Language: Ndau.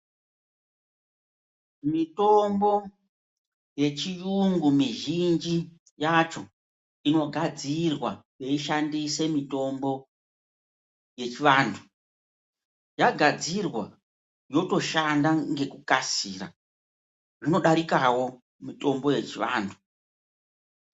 mitombo yechiyungu mizhinji yacho inogadzirwa veishandise mitombo yechivanhu yagadzirwa yotoshanda ngekukasira zvinodarikawo mitombo yechivanhu.